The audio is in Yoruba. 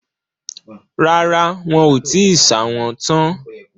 Rárá, wọn ò tíì ṣà wọ́n tán